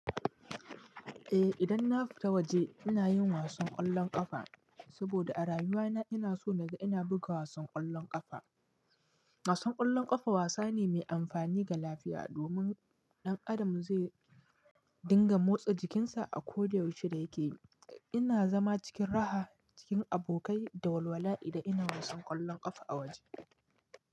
Eh idan na fita waje, ina yin wasan ƙwallon ƙafa, saboda a rayuwa na ina so na ga ina buga wasan ƙwallon ƙafa. Wasan ƙwallon ƙafa wasa ne mai amfani ga lafiya, domin ɗan Adam zai dinga motsa jikinsa a ko da yaushe da yake. Ina zama cikin raha, cikin abokai da walwala idan ina wasan ƙwallon ƙafa a waje.